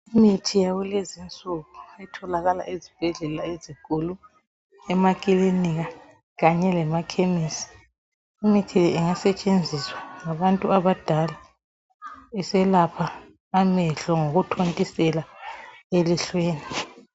Imithi yakulezi nsuku etholakala ezibhedlela ezinkulu emakilinika kanye lemakhemesi imithi le ingasetshenziswa ngabantu abadala beselapha amehlo ngokuthontisela elihlweni.